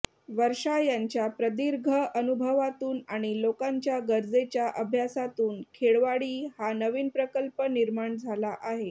वर्षा यांच्या प्रदीर्घ अनुभवातून आणि लोकांच्या गरजेच्या अभ्यासातून खेळवाडी हा नवीन प्रकल्प निर्माण झाला आहे